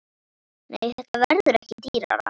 Nei, þetta verður ekki dýrara.